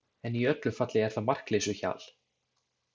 En í öllu falli er það markleysuhjal.